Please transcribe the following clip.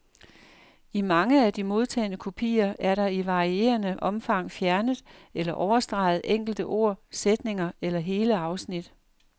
I mange af de modtagne kopier er der i varierende omfang fjernet eller overstreget enkelte ord, sætninger eller hele afsnit.